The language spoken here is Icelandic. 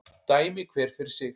Dæmi hver fyrir sig